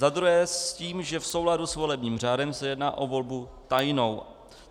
Za druhé s tím, že v souladu s volebním řádem se jedná o volbu tajnou.